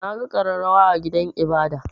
Na ga ƙararrawa a gidan ibada.